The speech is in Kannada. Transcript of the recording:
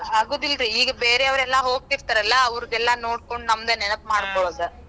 ಆಗುದಿಲ್ರೀ, ಈಗ ಬೇರೆ ಅವರೆಲ್ಲಾ ಹೋಗತಿರ್ತಾರಲ್ಲಾ ಅವರದೆಲ್ಲಾ ನೋಡ್ಕೊಂಡ ನಮ್ದ್ ನೆನಪ್ ಮಾಡ್ಕೋಳೋದ್